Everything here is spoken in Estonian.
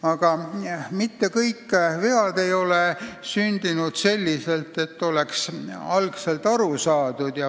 Aga mitte kõik vead ei ole sündinud nii, et sellest oleks algul aru saadud.